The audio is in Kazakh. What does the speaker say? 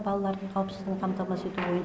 балалардың қауіпсіздігін қамтамасыз ету ойын